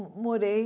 morei...